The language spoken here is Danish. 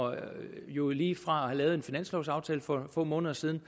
jo lige fra at have lavet en finanslovaftale for få måneder siden